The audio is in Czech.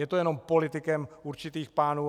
Je to jenom politikem určitých pánů.